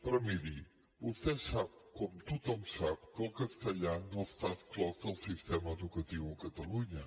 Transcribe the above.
però miri vostè sap com tothom sap que el castellà no està exclòs del sistema educatiu a catalunya